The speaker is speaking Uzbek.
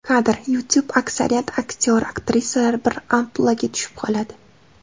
Kadr: YouTube Aksariyat aktyor-aktrisalar bir ampluaga tushib qoladi.